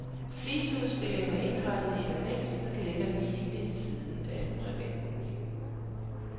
Fliseudstillingen er indrettet i et anneks, der ligger lige ved siden af privatboligen.